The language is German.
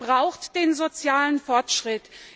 Denn Europa braucht den sozialen Fortschritt!